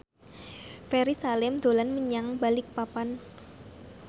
Ferry Salim dolan menyang Balikpapan